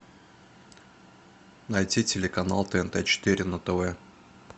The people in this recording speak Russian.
найти телеканал тнт четыре на тв